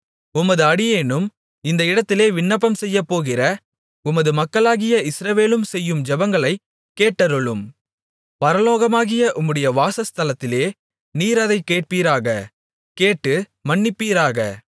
உமது அடியேனும் இந்த இடத்திலே விண்ணப்பம் செய்யப்போகிற உமது மக்களாகிய இஸ்ரவேலும் செய்யும் ஜெபங்களைக் கேட்டருளும் பரலோகமாகிய உம்முடைய வாசஸ்தலத்திலே நீர் அதைக் கேட்பீராக கேட்டு மன்னிப்பீராக